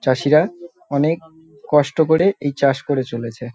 চাষিরা অনেক কষ্ট করে এই চাষ করে চলেছে।